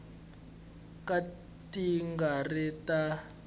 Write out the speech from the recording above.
ka ti nga ri ta